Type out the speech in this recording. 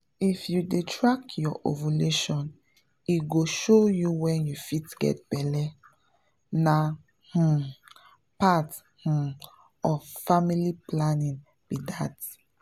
if you dey track your ovulation e go show you when you fit get belle — na um part um of family planning be that.